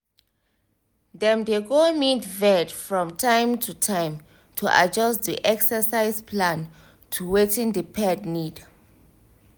dem dey go meet vet from time to time to adjust the exercise plan to wetin the pet need